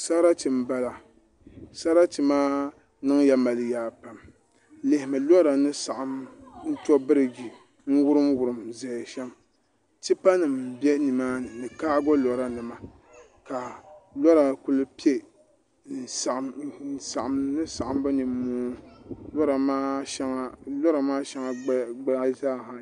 Sarati n bala sarati maa niŋya mali yaa pam lihimi lora ni saɣam ni to birij n wurim wurim ʒɛya shɛm tipa nim bɛ nimaani ni kaago lora nima ka lora kuli piɛ n saɣam saɣambu nimmoo lora maa shɛli gbaya ayi zaaha